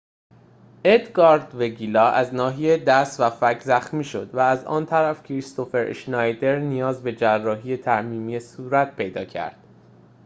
ادگار وگیلا از ناحیه دست و فک زخمی شد و از آن طرف کریستوفر اشنایدر نیاز به جراحی ترمیمی صورت پیدا کرد